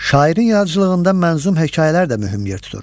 Şairin yaradıcılığında mənzum hekayələr də mühüm yer tutur.